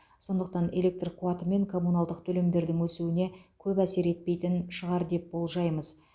сондықтан электр қуаты мен коммуналдық төлемдердің өсуіне көп әсер етпейтін шығар деп болжаймыз